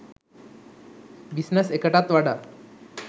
business එකටත් වඩා